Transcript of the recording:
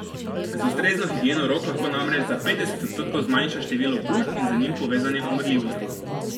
Z ustrezno higieno rok lahko namreč za petdeset odstotkov zmanjša število okužb in z njimi povezane umrljivosti.